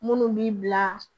Munnu b'i bila